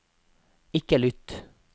ikke lytt